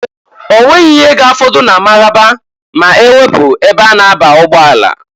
Onweghi ihe ga-afọdụ na Mararaba ma-ewepu ebe a na-aba ụgbọala.